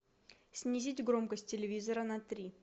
снизить громкость телевизора на три